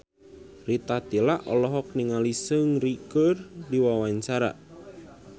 Rita Tila olohok ningali Seungri keur diwawancara